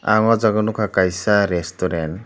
ah oh jagao nukha kaisa restaurant.